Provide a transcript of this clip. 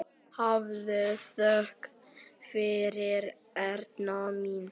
Hafðu þökk fyrir, Erna mín.